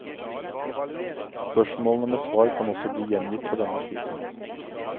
Spørsmålene med svar kan også bli gjengitt på denne siden.